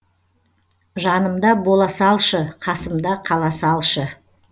жанымда бола салшы қасымда қала салшы